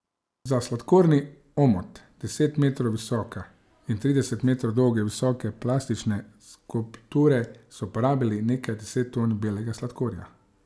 Za sladkorni omot deset metrov visoke in trideset metrov dolge visoke plastične skulpture so porabili nekaj deset ton belega sladkorja.